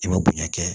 I bɛ bonya kɛ